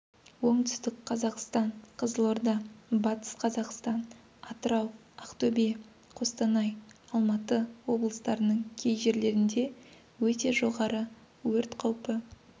оңтүстік қазақстан қызылорда батыс қазақстан атырау ақтөбе қостанай алматы облыстарының кей жерлерінде өте жоғары өрт қаупі